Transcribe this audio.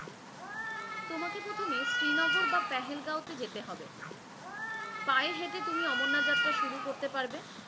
তোমাকে প্রথমে শ্রিনগর বা পেহেল গ্যাউতে যেতে হবে, পায়ে হেটে তুমি শুরু করতে পারব,